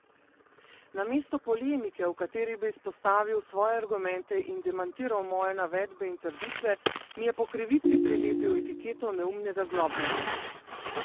Namesto polemike, v kateri bi izpostavil svoje argumente in demantiral moje navedbe in trditve, mi je po krivici prilepil etiketo neumnega zlobneža.